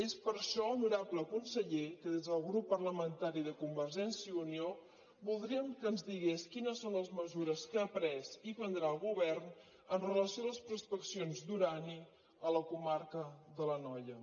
és per això honorable conseller que des del grup parlamentari de convergència i unió voldríem que ens digués quines són les mesures que ha pres i prendrà el govern amb relació a les prospeccions d’urani a la comarca de l’anoia